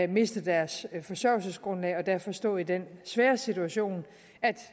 miste deres forsørgelsesgrundlag og derfor stå i den svære situation